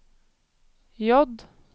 J